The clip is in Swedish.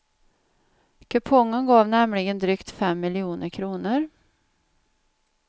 Kupongen gav nämligen drygt fem miljoner kronor.